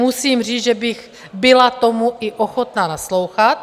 Musím říct, že bych tomu byla i ochotna naslouchat.